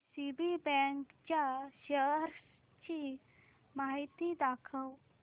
DCB bank च्या shares ची माहिती दाखव